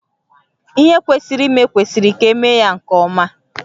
Ihe kwesịrị ime kwesịrị ka emee ya nke ọma